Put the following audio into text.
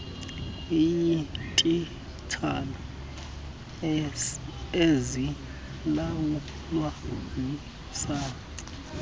kweyeetitshala ezilawulwa yisace